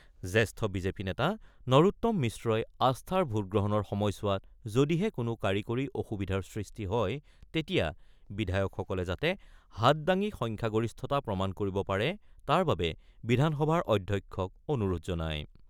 জ্যেষ্ঠ বিজেপি নেতা নৰোত্তম মিশ্ৰই আস্থাৰ ভোটগ্ৰহণৰ সময়ছোৱাত যদিহে কোনো কাৰিকৰী অসুবিধাৰ সৃষ্টি হয় তেতিয়া বিধায়কসকলে যাতে হাত দাঙি সংখ্যাগৰিষ্ঠতা প্ৰমাণ কৰিব পাৰে তাৰ বাবে বিধানসভাৰ অধ্যক্ষক অনুৰোধ জনায়।